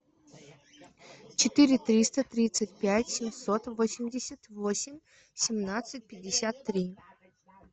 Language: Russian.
четыре триста тридцать пять семьсот восемьдесят восемь семнадцать пятьдесят три